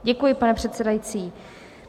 Děkuji, pane předsedající.